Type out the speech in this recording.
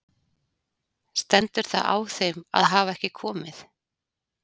Stendur það á þeim að hafa ekki komið?